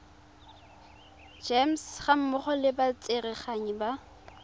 gems gammogo le batsereganyi ba